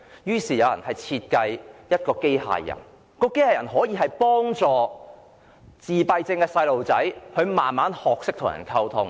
有人便設計出一款機械人，可以幫助自閉症小朋友逐漸學懂與人溝通。